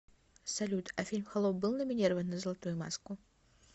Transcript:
салют а фильм холоп был номинирован на золотую маску